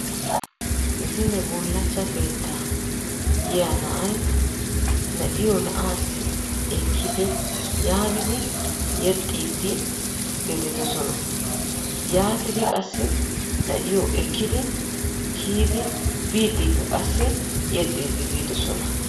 zine bulachcha keettaa yiya na'ay na'iyo na'aassi ekkidi yaagidi yexxiiddi gelidosona. yaatidi qassi na'iyo na'aassi kiyidi biidikka qassi yexxiidi biidisona.